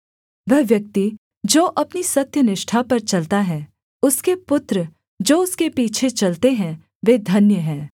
वह व्यक्ति जो अपनी सत्यनिष्ठा पर चलता है उसके पुत्र जो उसके पीछे चलते हैं वे धन्य हैं